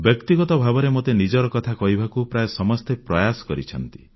ବ୍ୟକ୍ତିଗତ ଭାବରେ ମୋତେ ନିଜର କଥା କହିବାକୁ ପ୍ରାୟ ସମସ୍ତେ ପ୍ରୟାସ କରିଛନ୍ତି